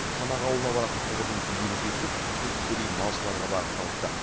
шанақ ауылына баратын құбырдың бүйірі тесіліп су тікелей малшыларға бағытталыпты